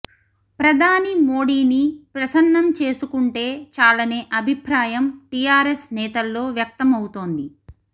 ప్రధాని మోడీని ప్రసన్నం చేసుకుంటే చాలనే అభిప్రాయం టీఆర్ఎస్ నేతల్లో వ్యక్తమవుతోంది